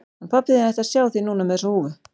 Hann pabbi þinn ætti að sjá þig núna með þessa húfu.